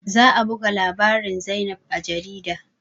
Za a buga labarin zainab a jarida